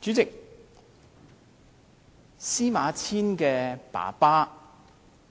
主席，司馬遷的父親